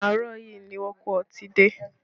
Àárọ̀ yìí ni wón kó ọtí dé